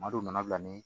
Maadɔw nana bila ni